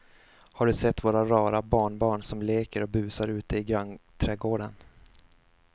Har du sett våra rara barnbarn som leker och busar ute i grannträdgården!